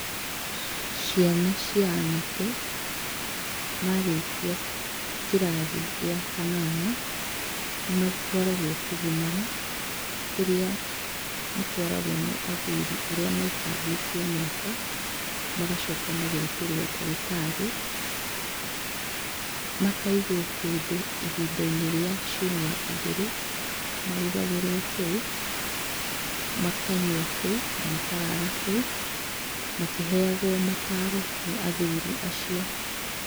Ciana cia anake, marĩkia kĩrathi gĩa kanana, nĩmatwaragwo kũgimara kũrĩa matwaragwo nĩathuri arĩa maikangĩtie mĩaka, magacoka magetĩrwo dagitarĩ .Makaigwo kũndũ ihinda-inĩ rĩa ciumia igĩrĩ marugagĩrwo kũu, makanyua kũu, na makarara kũu makĩheagwo mataro nĩ athuri acio.